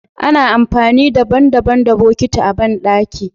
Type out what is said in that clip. Ana amfani daban- daban da botiki a bandaki.